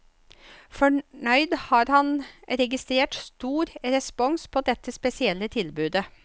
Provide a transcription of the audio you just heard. Fornøyd har han registrert stor respons på dette spesielle tilbudet.